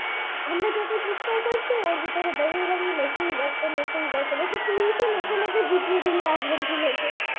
ওর ভেতরে দাঁড়িয়ে দাঁড়িয়ে নেচেই যাচ্ছে নেচেই যাচ্ছে তুইতো নেচে নেচে জিতিয়ে দিলি আর্জেন্টিনা কে